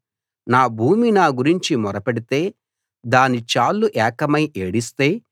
నా భూమి నా గురించి మొర పెడితే దాని చాళ్లు ఏకమై ఏడిస్తే